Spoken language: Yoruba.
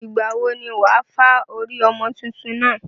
Ìgbàwo ni wà á fá orí ọmọ tuntun náà?